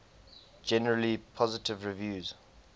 generally positive reviews